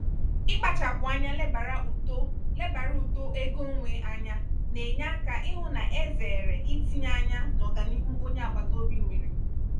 ikpachapụ anya lebara uto lebara uto ego onwe anya na-enye aka ịhụ na e zeere itinye anya n'ọganihu onye agbataobi nwèrè.